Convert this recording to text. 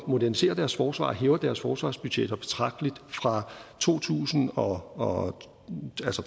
moderniserer deres forsvar og hæver deres forsvarsbudgetter betragteligt fra to tusind og